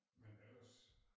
Men ellers